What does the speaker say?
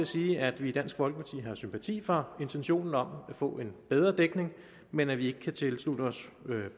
sige at vi i dansk folkeparti har sympati for intentionen om at få en bedre dækning men at vi ikke kan tilslutte os